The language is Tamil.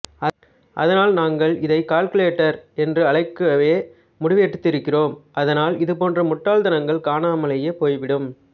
அதனால் நாங்கள் இதை கால்குலேட்டர் என்று அழைக்கவே முடிவெடுத்திருக்கிறோம் அதனால் இதுபோன்ற முட்டாள்தனங்கள் காணாமலே போய்விடும்